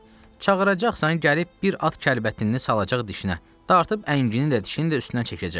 Çağıracaqsan, gəlib bir at kəlbətini salacaq dişinə, dartıb əngini də, dişini də üstündən çəkəcək.